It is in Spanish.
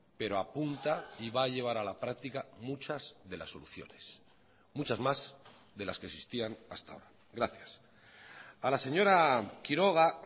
pero apunta y va a llevar a la practica muchas de las soluciones muchas más de las que existían hasta ahora gracias a la señora quiroga